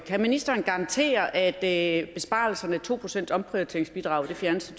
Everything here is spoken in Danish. kan ministeren garantere at besparelserne og det to procent omprioriteringsbidrag fjernes